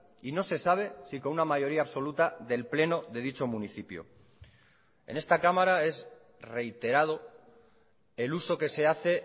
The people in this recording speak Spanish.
y no se sabe si con una mayoría absoluta del pleno de dicho municipio en esta cámara es reiterado el uso que se hace